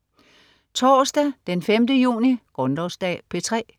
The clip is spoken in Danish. Torsdag den 5. juni - Grundlovsdag - P3: